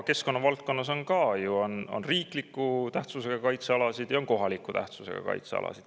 Keskkonnavaldkonnas on ka ju riikliku tähtsusega kaitsealasid ja kohaliku tähtsusega kaitsealasid.